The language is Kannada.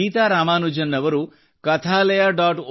ಗೀತಾ ರಾಮಾನುಜನ್ ಅವರು kathalaya